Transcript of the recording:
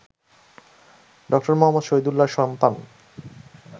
ড. মুহম্মদ শহীদুল্লাহ্র সন্তান